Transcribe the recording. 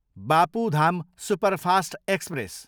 Bapu Dham superfast express